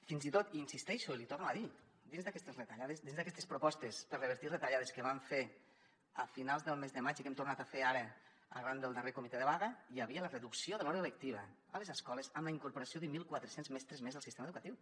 fins i tot hi insisteixo l’hi torno a dir dins d’aquestes propostes per revertir retallades que vam fer a finals del mes de maig i que hem tornat a fer ara arran del darrer comitè de vaga hi havia la reducció de l’hora lectiva a les escoles amb la incorporació de mil quatre cents mestres més al sistema educatiu